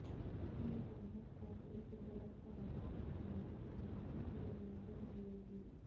scheme canvas پر ایک درست اعداد و شمار کو بنانے کے لئے مدد ملے گی